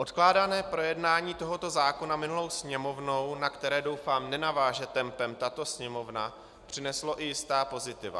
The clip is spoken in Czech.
Odkládané projednání tohoto zákona minulou Sněmovnou, na které doufám nenaváže tempem tato Sněmovna, přineslo i jistá pozitiva.